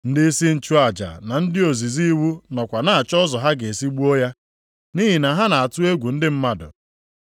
Ndịisi nchụaja na ndị ozizi iwu nọkwa na-achọ ụzọ ha ga-esi gbuo ya, nʼihi na ha na-atụ egwu ndị mmadụ.